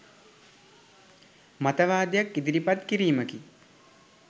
මතවාදයක් ඉදිරිපත් කිරීමකි.